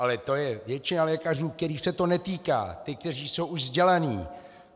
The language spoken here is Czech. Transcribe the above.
Ale to je většina lékařů, kterých se to netýká - ti, kteří jsou už vzdělaní!